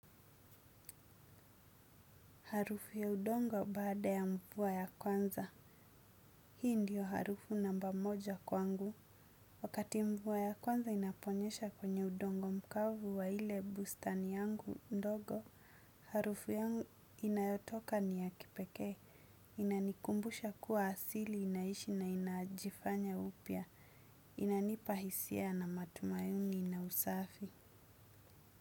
Harufu ya udongo baada ya mvua ya kwanza. Hii ndiyo harufu namba moja kwangu. Wakiti mvua ya kwanza inaponyesha kwenye udongo mkavu wa ile bustani yangu ndogo harufu yangu inayotoka ni ya kipekee. Inanikumbusha kuwa asili inaishi na inajifanya upya. Inanipa hisia na matumaini na usafi.